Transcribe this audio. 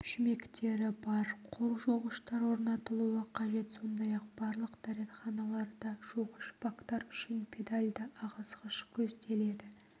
шүмектері бар қол жуғыштар орнатылуы қажет сондай-ақ барлық дәретханаларда жуғыш бактар үшін педальды ағызғыш көзделеді